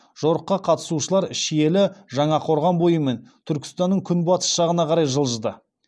жорыққа қатысушылар шиелі жаңақорған бойымен түркістанның күнбатыс жағына қарай жылжыды